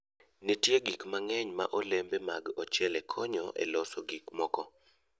Nitie gik mang'eny ma olembe mag ochele konyo e loso gik moko.